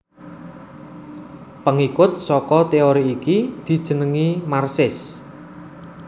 Pengikut saka teori iki dijenengi Marxis